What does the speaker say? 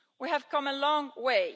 We have come a long way.